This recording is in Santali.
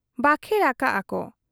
ᱵᱟᱠᱷᱮᱬ ᱟᱠᱟᱜ ᱟ ᱠᱚ ,